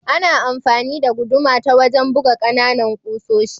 Ana amfani da guduma ta wajen buga kananan kusoshi.